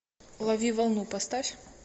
лови волну поставь